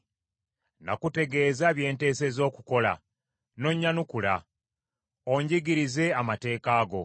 Nakutegeeza bye nteesezza okukola, n’onnyanukula; onjigirize amateeka go.